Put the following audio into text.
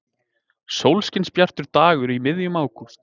Sólskinsbjartur dagur í miðjum ágúst.